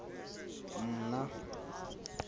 mna